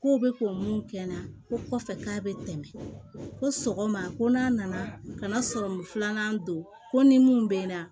Kow be k'o mun kɛ na ko kɔfɛ k'a be tɛmɛ ko sɔgɔma ko n'a nana kana sɔrɔ filanan don ko ni mun be n na